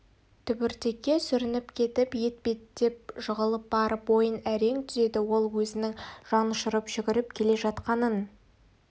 түбіртекке сүрініп кетіп ет беттеп жығылып барып бойын әрең түзеді ол өзінің жанұшырып жүгіріп келе жатқанын